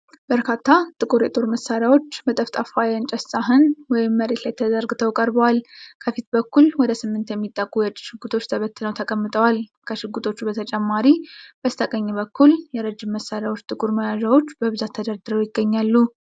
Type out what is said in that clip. በርካታ ጥቁር የጦር መሳሪያዎች በጠፍጣፋ የእንጨት ሳህን ወይም መሬት ላይ ተዘርግተው ቀርበዋል። ከፊት በኩል ወደ ስምንት የሚጠጉ የእጅ ሽጉጦች ተበታትነው ተቀምጠዋል። ከሽጉጦቹ በተጨማሪ ከላይ በስተቀኝ በኩል የረጅም መሳሪያዎች ጥቁር መያዣዎች በብዛት ተደርድረው ይገኛሉ።